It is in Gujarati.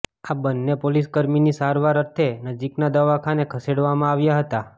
આ બંને પોલીસ કર્મીને સારવાર અર્થે નજીકના દવાખાને ખસેડવામાં આવ્યા હતા